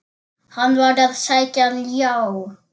Hann var að sækja ljá.